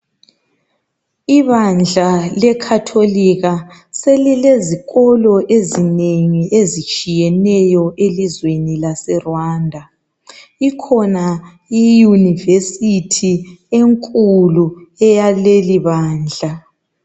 Ibandla lekhatholika selilezikolo ezinengi ezitshiyeneyo elizweni laseRwanda. Ikhona i Yunivesithi enkulu yakuleli bandla.